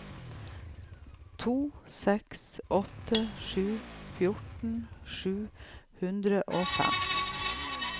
to seks åtte sju fjorten sju hundre og fem